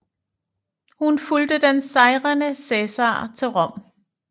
Hun fulgte den sejrende Cæsar til Rom